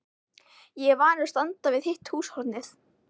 Ég er vanur að standa við hitt húshornið.